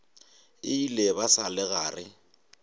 ile ba sa le gare